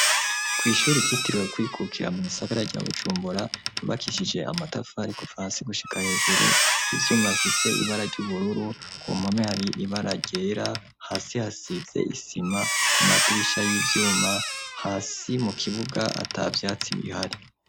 Kw' ishuri ryitiriwe Ukwikukira mu gisagara ca Bujumbura, ryubakishije amatafari kuva hasi gushika hejuru, ivyuma bifise ibara ry'ubururu; ku mpome hari ibara ryera , hasi hasize isima, ku madirisha y'ivyuma, hasi mu kibuga ata vyatsi bihari.